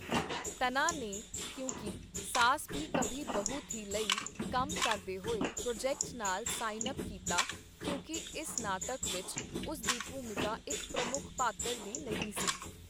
ਤੰਨਾ ਨੇ ਕਿਉਂਕਿ ਸਾਸ ਭੀ ਕਭੀ ਬਹੂ ਥੀ ਲਈ ਕੰਮ ਕਰਦੇ ਹੋਏ ਪ੍ਰੋਜੈਕਟ ਨਾਲ ਸਾਈਨ ਅਪ ਕੀਤਾ, ਕਿਉਂਕਿ ਇਸ ਨਾਟਕ ਵਿੱਚ ਉਸ ਦੀ ਭੂਮਿਕਾ ਇੱਕ ਪ੍ਰਮੁੱਖ ਪਾਤਰ ਦੀ ਨਹੀਂ ਸੀ।